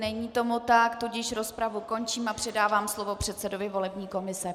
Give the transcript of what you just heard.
Není tomu tak, tudíž rozpravu končím a předávám slovo předsedovi volební komise.